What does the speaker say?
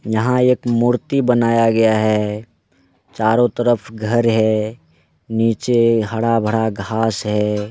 यहा एक मूर्ति बनाया गया है चारों तरफ घर है नीचे हड़ा भाड़ा घास है।